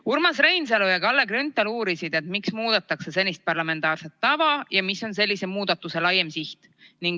Urmas Reinsalu ja Kalle Grünthal uurisid, miks muudetakse senist parlamentaarset tava ja mis on sellise muudatuse laiem siht.